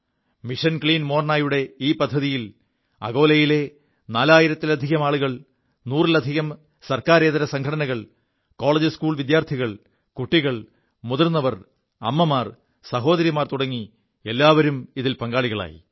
mission clean മോർനയുടെ ഈ പദ്ധതിയിൽ അകോലയിലെ നാലായിലത്തിലധികം ആളുകൾ നൂറിലധികം ഗവമെന്റിതരസംഘടനകൾ കോളജ്സ്കൂൾ വിദ്യാർഥികൾ കുികൾ മുതിർവർ അമ്മമാർ സഹോദരിമാർ തുടങ്ങി എല്ലാവരും ഇതിൽ പങ്കാളികളായി